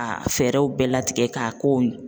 A fɛɛrɛw bɛɛ latigɛ k'a k'o ye